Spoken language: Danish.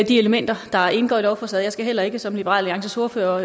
de elementer der indgår i lovforslaget skal heller ikke som liberal alliances ordfører